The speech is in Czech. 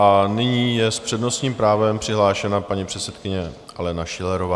A nyní je s přednostním právem přihlášena paní předsedkyně Alena Schillerová.